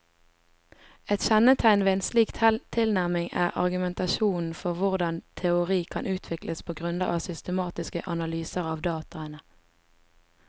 Et kjennetegn ved en slik tilnærming er argumentasjonen for hvordan teori kan utvikles på grunnlag av systematiske analyser av dataene.